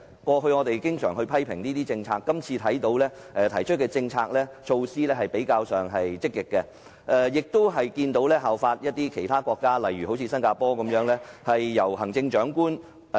過去，我們經常批評政府的政策，但這份施政報告提出的政策措施較為積極，亦有參考其他國家，例如新加坡的做法。